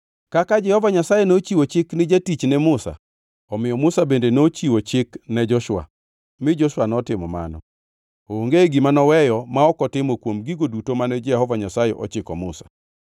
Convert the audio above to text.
Kaka Jehova Nyasaye nochiwo chik ni jatichne Musa, omiyo Musa bende nochiwo chik ne Joshua, mi Joshua notimo mano. Onge gima noweyo ma ok otimo kuom gigo duto mane Jehova Nyasaye ochiko Musa.